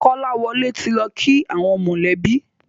Kolawole tí lọ kí àwọn mọ lẹ bí.